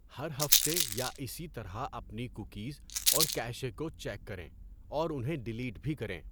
ہر ہفتے یا اسی طرح اپنی کوکیز اور کیشے کو چیک کریں اور انہیں ڈلیٹ بھی کریں۔